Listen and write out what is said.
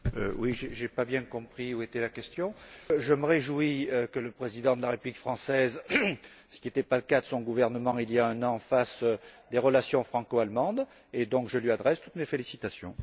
Madame Berès, je n'ai pas bien compris où était la question. Je me réjouis que le président de la République française, ce qui n'était pas le cas de son gouvernement il y a un an, ravive les relations franco allemandes et donc je lui adresse toutes mes félicitations.